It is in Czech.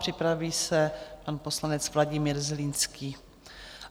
Připraví se pan poslanec Vladimír Zlínský.